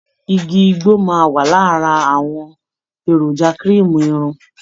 Igi igbó máa wà lára àwọn èròjà kirimu irun.